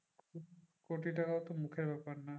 কোটি টাকা তো মুখের ব্যাপার না।